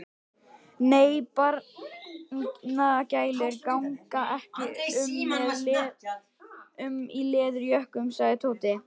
Nei, barnagælur ganga ekki um í leðurjökkum sagði Tóti.